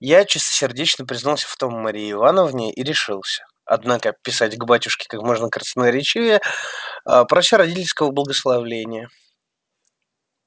я чистосердечно признался в том марье ивановне и решился однако писать к батюшке как можно красноречивее а прося родительского благословения